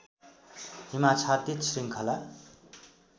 हिमाच्छादित श्रृङ्खला